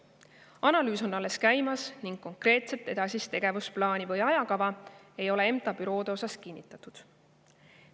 Analüüs on alles käimas ning konkreetset edasist tegevusplaani või ajakava ei ole MTA büroode osas kinnitatud.